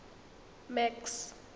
max